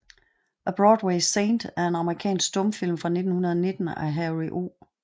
A Broadway Saint er en amerikansk stumfilm fra 1919 af Harry O